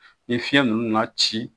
Ni fiyɛn ninnu nana ci